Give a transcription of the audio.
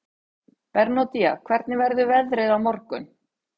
Bernódía, hvernig verður veðrið á morgun?